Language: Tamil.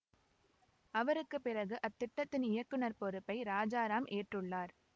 அவருக்கு பிறகு அத்திட்டத்தின் இயக்குநர் பொறுப்பை ராசாராம் ஏற்றுள்ளார்